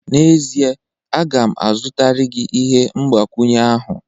N'ezie, a ga m azụtara gị ihe mgbakwunye ahụ